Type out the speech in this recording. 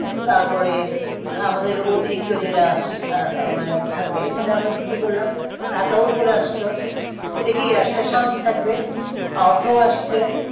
তারপরে আমাদের অতিরিক্ত যেটা আহ মানে থাকবে সেটা আমরা বিক্রি করলাম টাকাও চলে আসলো এটা কি আসলে শান্তি থাকবে অর্থও আসবে